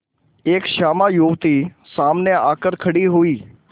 एक श्यामा युवती सामने आकर खड़ी हुई